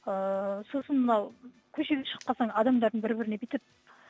ыыы сосын мынау көшеге шығып қалсаң адамдардың бір біріне бүйтіп